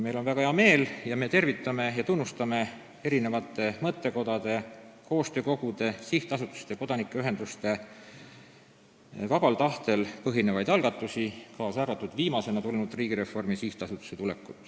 Meil on väga hea meel ning me tervitame ja tunnustame mõttekodade, koostöökogude, sihtasutuste ja kodanikuühenduste vabal tahtel põhinevaid algatusi, kaasa arvatud viimasena tekkinud Riigireformi SA.